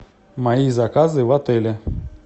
мои заказы в отеле